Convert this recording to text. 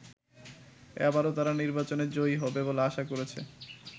এবারও তারা নির্বাচনে জয়ী হবে বলে আশা করছে।